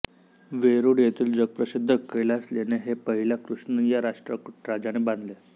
वेरूळ येथील जगप्रसिद्ध कैलास लेणे हे पहिला कृष्ण या राष्ट्रकूट राजाने बांधले